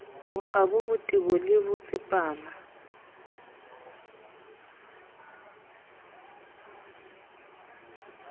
bokgabo botebo le ho tsepama